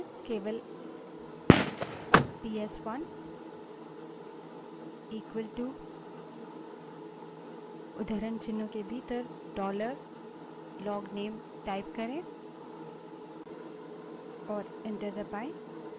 केवल पीएसवन बड़े अक्षर में इक्वलटू उद्धरणचिन्हों के भीतर dollar लोगनेल type करें और enter दबायें